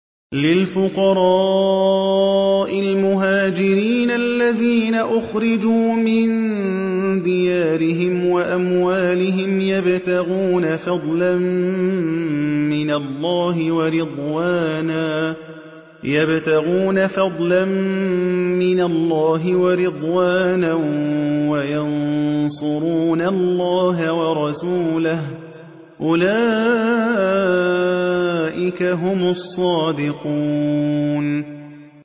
لِلْفُقَرَاءِ الْمُهَاجِرِينَ الَّذِينَ أُخْرِجُوا مِن دِيَارِهِمْ وَأَمْوَالِهِمْ يَبْتَغُونَ فَضْلًا مِّنَ اللَّهِ وَرِضْوَانًا وَيَنصُرُونَ اللَّهَ وَرَسُولَهُ ۚ أُولَٰئِكَ هُمُ الصَّادِقُونَ